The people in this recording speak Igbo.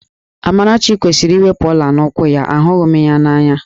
Amarachi kwesịrị iwepu ọ̀lá n'úkwù ya, ahụghị m ya n'anya